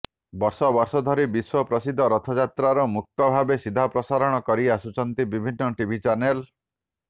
ବର୍ଷ ବର୍ଷ ଧରି ବିଶ୍ୱ ପ୍ରସିଦ୍ଧ ରଥଯାତ୍ରାର ମୁକ୍ତ ଭାବେ ସିଧାପ୍ରସାରଣ କରି ଆସୁଛନ୍ତି ବିଭିନ୍ନ ଟିଭି ଚ୍ୟାନେଲ